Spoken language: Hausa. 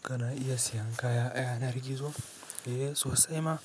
Kana iya siyan kaya a yanar gizo? Eh sosai ma